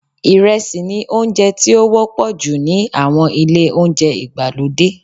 Ìrẹsì ni oúnjẹ tí ó wọ́pọ̀ jù ní àwọn ilé-oúnjẹ ìgbàlódé